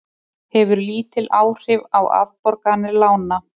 Hefur lítil áhrif á afborganir lána